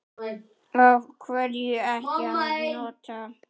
Af hverju ekki að nota?